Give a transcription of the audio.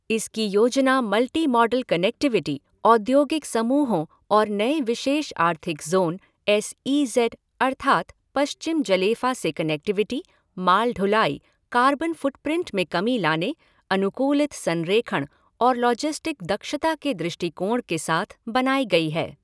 इसकी योजना multimodal connectivity, औद्योगिक समूहों और नए विशेष आर्थिक ज़ोन, एस ई ज़ेड अर्थात् पश्चिम जलेफ़ा से कनेक्टिविटी, माल ढुलाई, कार्बन फ़ुटप्रिंट में कमी लाने, अनुकूलित संरेखण और लॉजिस्टिक दक्षता के दृष्टिकोण के साथ बनाई गई है।